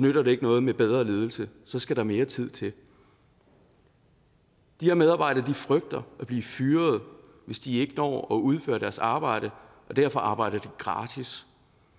nytter det ikke noget med bedre ledelse så skal der mere tid til de her medarbejdere frygter at blive fyret hvis de ikke når at udføre deres arbejde og derfor arbejder de gratis